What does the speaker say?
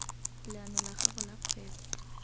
leano la gago la kgwebo